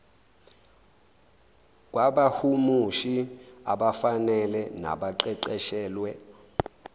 kwabahumushi abafanele nabaqeqeshelwe